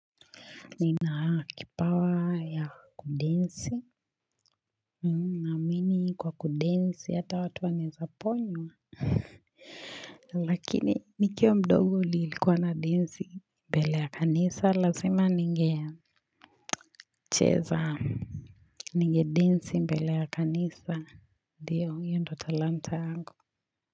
Nina kipawa ya kudensi Kwa kudensi hata watu waneza ponywa Lakini nikiwa mdogo lilikua na denzi mbele ya kanisa lazima ninge cheza Ninge denzi mbele ya kanisa Ndiyo hiyo ndo talanta angu.